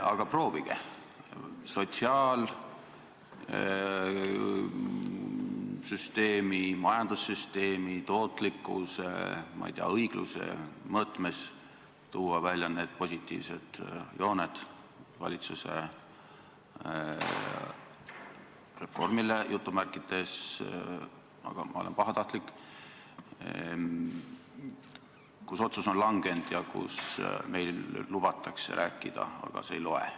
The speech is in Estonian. Aga proovige tuua sotsiaalsüsteemi, majandussüsteemi, tootlikkuse, õigluse mõõtmes välja mõningad positiivsed jooned selle valitsuse "reformi" puhul – ma olen pahatahtlik –, mille kohta otsus on langetatud ja mille osas meil lubatakse küll rääkida, aga see ei loe.